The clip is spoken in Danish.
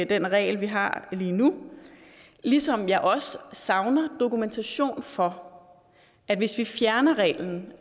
den regel vi har lige nu ligesom jeg også savner dokumentation for at hvis vi fjerner reglen